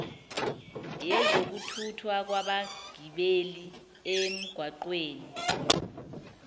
yezokuthuthwa kwabagibeli emgaqweni